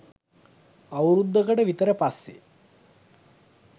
අවුරුද්දකට විතර පස්සේ